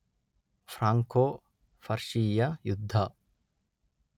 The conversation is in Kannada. ಫ್ರಾಂಕೋ, ಪರ್ಷಿಯ ಯುದ್ಧ